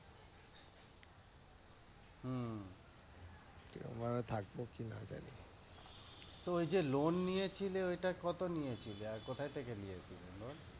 তো ঐ যে লোণ নিয়েছিলে ঐ তা কত নিয়েছিলে? আর কোথায় থেকে নিয়েছিলে লোণ?